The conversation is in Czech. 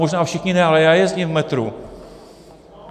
Možná všichni ne, ale já jezdím v metru.